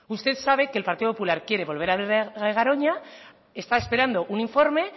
usted sabe que el partido popular quiere volver a hablar de garoña está esperando un informe